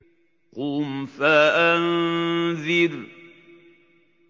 قُمْ فَأَنذِرْ